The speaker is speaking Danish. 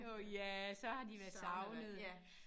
Åh ja så har de været savnede